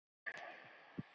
Elín Rós.